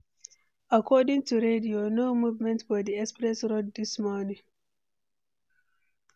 According to radio, no movement for di express road this morning.